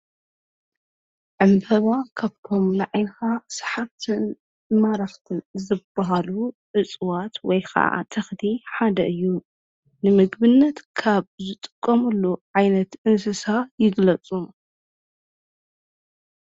ዕምበባ ካብቶም ናዓይንኻ ሰሓብትን ማረክትን ዝበሃሉ እፅዋት ወይ ከዓ ተኽሊ ሓደ እዩ። ንምግብነት ካብ ዝጥቀምሉ ዓይነት እንስሳ ይግለፁ?